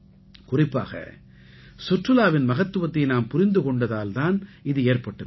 குறிப்பாக சுற்றுலாவின் மகத்துவத்தை நாம் புரிந்து கொண்டதால் தான் இது ஏற்பட்டிருக்கிறது